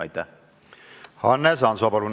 Hannes Hanso, palun!